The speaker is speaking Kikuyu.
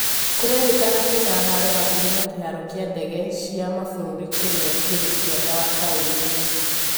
kurerĩkana kwĩna haaro hakuhĩ na kĩharo kĩa ndege ciw maburũri kĩrĩa kĩrĩ kĩanda wa taũni ĩyo